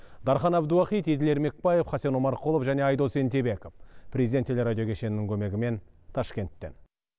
дархан әбдуахит еділ ермекбаев хасен омарқұлов және айдос ентебеков президент телерадио кешенінің көмегімен ташкенттен